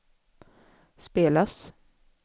spelas